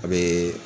A bee